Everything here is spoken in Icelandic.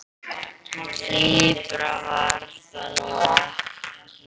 Dýpra var það nú ekki.